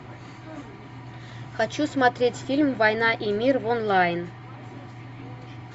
хочу смотреть фильм война и мир в онлайн